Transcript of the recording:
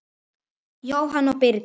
Jóhanna og Birgir.